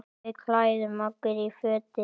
Við klæðum okkur í fötin.